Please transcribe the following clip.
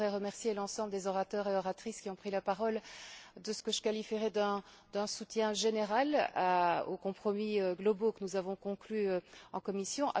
Je voudrais remercier l'ensemble des oratrices et orateurs qui ont pris la parole de ce que je qualifierai d'un soutien général aux compromis globaux que nous avons conclus en commission.